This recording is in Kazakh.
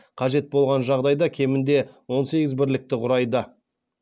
қажет болған жағдайда кемінде он сегіз бірлікті құрайды